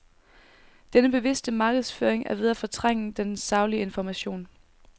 Den bevidste markedsføring er ved at fortrænge den saglige information.